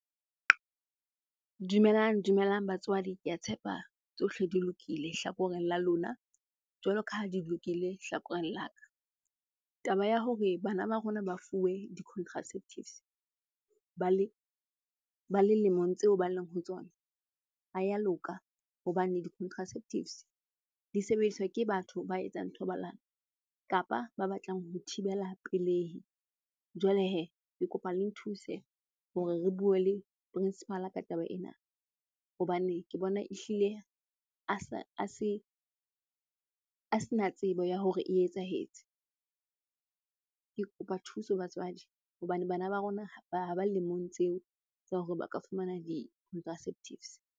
Dumelang dumelang batswadi. Ke a tshepa tsohle di lokile hlakoreng la lona, jwalo ka ha di lokile hlakoreng la ka. Taba ya hore bana ba rona ba fuwe di-contraceptives ba le lemong tseo ba leng ho tsona ha ya loka. Hobane di-contraceptives di sebediswa ke batho ba etsang thobalano kapa ba batlang ho thibela pelehi. Jwale hee, ke kopa le nthuse hore re bue le principal-a ka taba ena hobane ke bona ehlile a sena tsebo ya hore e etsahetse. Ke kopa thuso batswadi hobane bana ba rona ha ba lemong tseo tsa hore ba ka fumana di-contraceptives.